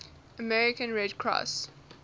american red cross